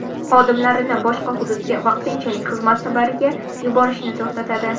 Xodimlarini boshqa hududga vaqtinchalik xizmat safariga yuborishni to‘xtatadi.